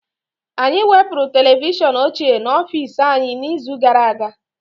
Anyị wepụrụ televishọn ochie n'ọfịs anyị n'izu gara aga